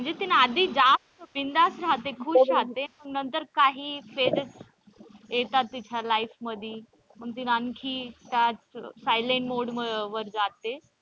म्हणजे तिने आधी जास्त बिनधास्त रहाते खुश रहाते मग नंतर काही phases येतात तिच्या life मध्ये मग तिला आणखी silent mode वर जाते.